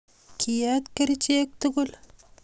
kiiet kerichek tugul